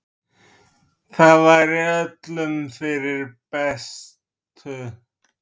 það væri öllum fyrir bestu.